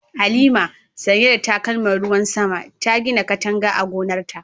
Halima, sanye da takalman ruwan sama, ta gina katanga a gonarta.